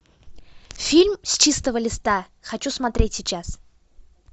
фильм с чистого листа хочу смотреть сейчас